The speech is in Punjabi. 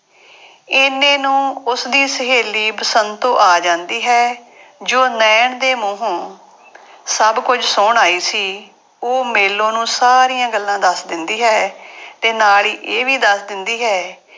ਇੰਨੇ ਨੂੰ ਉਸਦੀ ਸਹੇਲੀ ਬਸੰਤੋ ਆ ਜਾਂਦੀ ਹੈ ਜੋ ਨੈਣ ਦੇ ਮੂੰਹੋਂ ਸਭ ਕੁੱਝ ਸੁਣ ਆਈ ਸੀ, ਉਹ ਮੇਲੋ ਨੂੰ ਸਾਰੀਆਂ ਗੱਲਾਂ ਦੱਸ ਦਿੰਦੀ ਹੈ ਤੇ ਨਾਲ ਹੀ ਇਹ ਵੀ ਦੱਸ ਦਿੰਦੀ ਹੈ,